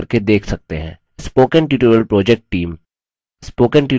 spoken tutorial project team